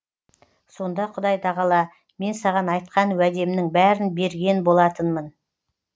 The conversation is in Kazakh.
сонда құдай тағала мен саған айтқан уәдемнің бәрін берген болатынмын